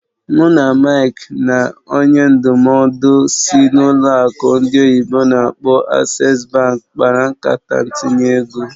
Mụ na Mike na onye ndụmọdụ sịị n'ụlọ akụ ndị oyibo n'akpọ "Access bank" kpara nkata ntinye ego.